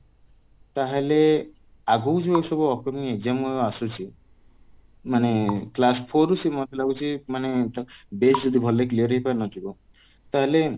ତାହେଲେ ଆଗକୁ ଯୋଉ ସବୁ upcoming exam ଆସୁଛି ମାନେ class four ରୁ ସେ ମତେ ଲାଗୁଛି ମାନେ base ଯଦି ଭଲରେ clear ହେଇ ପାରି ନଥିବ ତାହେଲେ